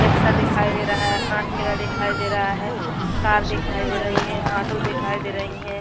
Rickshaw दिखाई दे रहा है ठेला दिखाई दे रहा है कार दिखाई दे रही है ऑटो दिखाई दे रही है।